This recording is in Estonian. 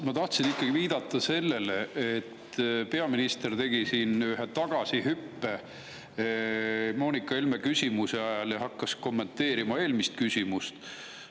Ma tahtsin ikkagi viidata sellele, et peaminister tegi ühe tagasihüppe Moonika Helme küsimusele ja hakkas kommenteerima eelmist küsimust.